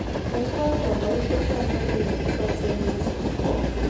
Koibor Nambarishek chotok kole tesaksei missing.